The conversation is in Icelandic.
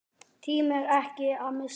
Tímir ekki að missa mig.